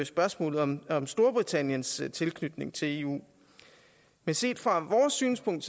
spørgsmålet om om storbritanniens tilknytning til eu men set fra vores synspunkt